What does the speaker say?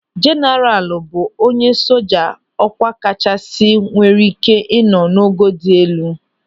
Jeenaralu bụ onye soja ọkwa kachasị nwere ị́ké ịnọ n'ogo dị elu.